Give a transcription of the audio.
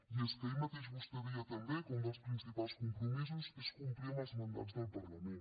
i és que ahir mateix vostè deia també que un dels principals compromisos és complir amb els mandats del parlament